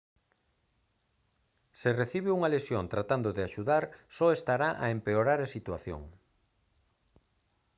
se recibe unha lesión tratando de axudar só estará a empeorar a situación